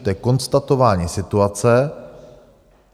To je konstatování situace.